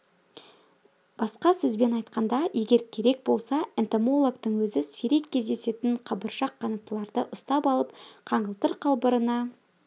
басқа сөзбен айтқанда егер керек болса энтомологтың өзі сирек кездесетін қабыршақ қанаттыларды ұстап алып қаңылтыр қалбырына